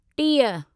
टीह